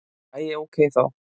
Æi, ókei þá!